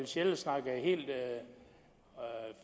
sjelle snakkede helt